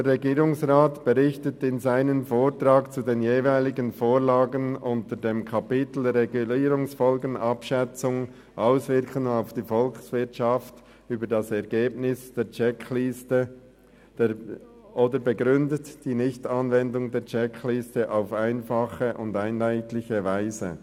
Der Regierungsrat berichtet in seinem Vortrag zu den jeweiligen Vorlagen unter dem Kapitel «Regulierungsfolgenabschätzung/Auswirkungen auf die Volkswirtschaft» über das Ergebnis der Checkliste oder begründet die Nichtanwendung der Checkliste auf einfache und einheitliche Weise.